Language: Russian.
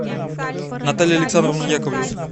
наталья александровна яковлева